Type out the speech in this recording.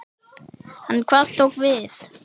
En hvað tók við?